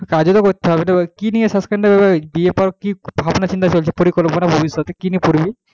কাজে তো করতে হবে কি নিয়ে BA পর কি ভাবনাচিন্তা চলছে পরিকল্পনা ভবিষ্যতে কি নিয়ে পড়বি,